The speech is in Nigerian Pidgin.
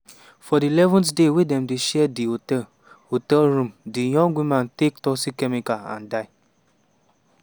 for di 11th day wey dem dey share di hotel hotel room di young woman take toxic chemical and die.